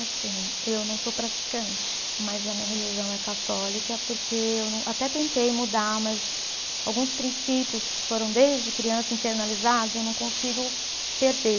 Assim, eu não sou praticante, mas a minha religião é católica, porque eu não, até tentei mudar, mas alguns princípios que foram desde criança internalizados eu não consigo perder.